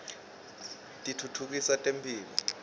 titfutfukisa temphilo